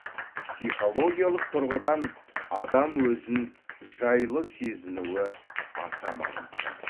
психологиялық тұрғыдан адам өзін жайлы сезінуі аса маңызды